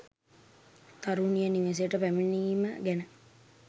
තරුණිය නිවෙසට පැමිණීම ගැන